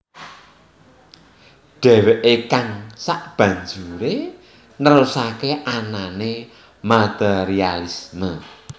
Deweke kang sebanjure nerusake anane materialisme